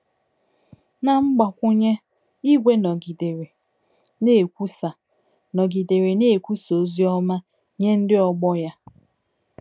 Na mgbakwụnye, Igwe nọgidere na-ekwusa nọgidere na-ekwusa ozi ọma nye ndị ọgbọ ya